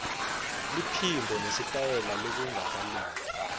liphimbo nesitayela lokungakalungi